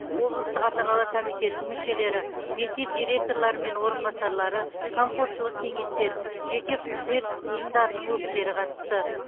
облыстық ата аналар комитетінің мүшелері мектеп директорлары мен орынбасарлары қамқоршылық кеңестер жеке күзет ұйымдарының өкілдері қатысты